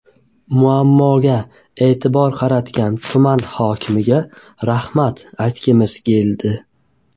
Muammoga e’tibor qaratgan tuman hokimiga rahmat aytgimiz keldi.